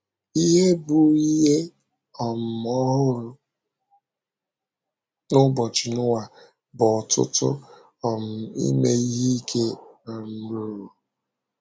Ihe bụ́ ihe um ọhụrụ n’ụbọchị Noa bụ ọ̀tụ̀tụ̀ um ime ihe ike um ruru.